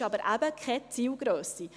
Es ist aber eben keine Zielgrösse.